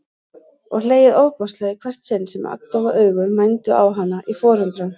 Og hlegið ofboðslega í hvert sinn sem agndofa augu mændu á hana í forundran.